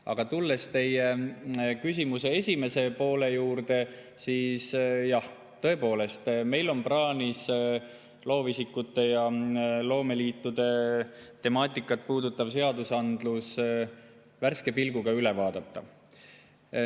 Aga tulles teie küsimuse esimese poole juurde: jah, tõepoolest, meil on plaanis loovisikute ja loomeliitude temaatikat puudutav seadusandlus värske pilguga üle vaadata.